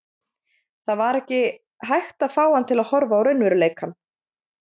Það var ekki hægt að fá hann til að horfa á raunveruleikann.